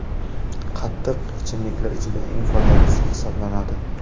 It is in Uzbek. Qatiq – ichimliklar ichida eng foydalisi hisoblanadi.